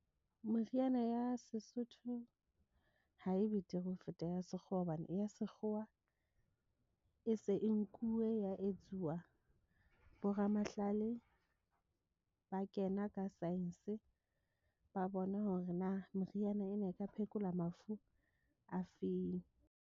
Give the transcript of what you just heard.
Meriana ya Sesotho ha e betere ho feta ya sekgowa, hobane ya sekgowa e se e nkuwe ya etsuwa. Bo ramahlale ba kena ka science, ba bona hore na moriana ena e ka phekola mafu afeng.